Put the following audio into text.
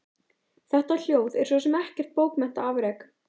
Þetta ljóð er svo sem ekkert bókmenntaafrek.